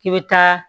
K'i bɛ taa